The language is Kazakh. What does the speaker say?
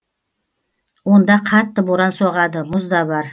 онда қатты боран соғады мұз да бар